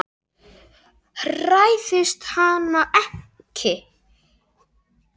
Hræðist hana ekki.